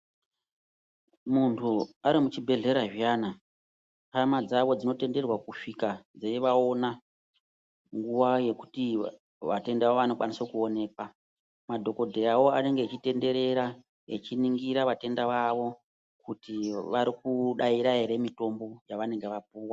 Muntu ari muchibhedhlera zviyana hama dzavo dzinotenderwa kusvika dzeivaona nguva yekuti vatenda vanokwanise kuonekwa. Madhokodheyavo anenge achitenderera echiningira vatenda vavo kuti varikudaira ere mitombo yavanenge vapuwa.